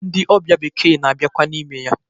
Ndị ọbịa bekee na-abiakwa n'ime ya.